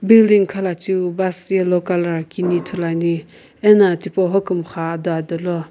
building khalacheu bus yellow colour kini ithulu ane ano hokumxa ado adolo.